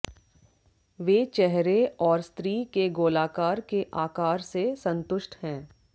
वे चेहरे और स्त्री के गोलाकार के आकार से संतुष्ट हैं